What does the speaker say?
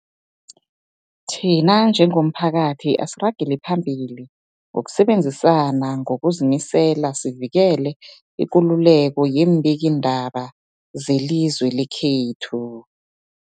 Thina njengomphakathi, asiragele phambili ngokusebenzisana ngokuzimisela sivikele ikululeko yeembikiindaba zelizwe lekhethu.